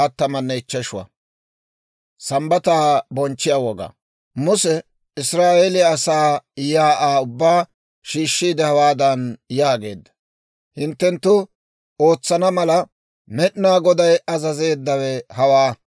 Muse Israa'eeliyaa asaa shiik'uwaa ubbaa shiishshiide hawaadan yaageedda; «Hinttenttu ootsana mala, Med'inaa Goday azazeeddawe hawaa: